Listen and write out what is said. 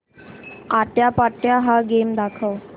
आट्यापाट्या हा गेम दाखव